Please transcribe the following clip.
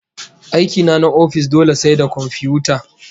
Aiki na na ofis dole sai da komfiyuta